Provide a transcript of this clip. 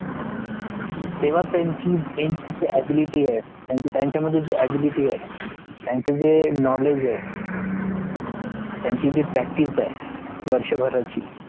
तेव्हा त्यांची ability आहे त्यांचं मध्ये जे ability आहे त्यांचं जे knowledge आहे त्यांचं जे practice है वर्षा भरची